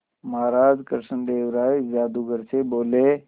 महाराज कृष्णदेव राय जादूगर से बोले